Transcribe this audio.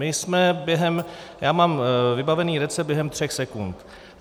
My jsme během - já mám vybavený recept během tří sekund.